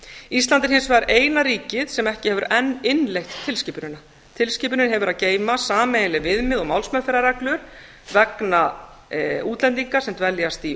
ísland er hins vegar eina ríkið sem ekki hefur enn innleitt tilskipunina tilskipunin hefur að geyma sameiginleg viðmið og málsmeðferðarreglur vegna útlendinga sem dveljast í